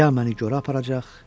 Ya məni gorə aparacaq.